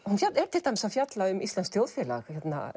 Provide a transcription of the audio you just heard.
hún er til dæmis að tala um íslenskt þjóðfélag